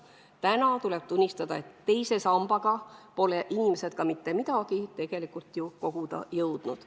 Täna tuleb tunnistada, et teise sambaga pole inimesed mitte midagi tegelikult ju koguda jõudnud.